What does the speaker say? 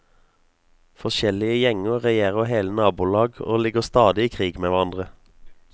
Forskjellige gjenger regjerer hele nabolag og ligger stadig i krig med hverandre.